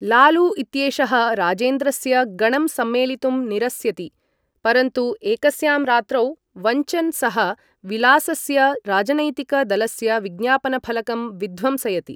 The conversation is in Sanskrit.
लालू इत्येषः राजेन्द्रस्य गणं सम्मेलितुं निरस्यति, परन्तु एकस्यां रात्रौ वञ्चन् सः विलासस्य राजनैतिक दलस्य विज्ञापनफलकं विध्वंसयति।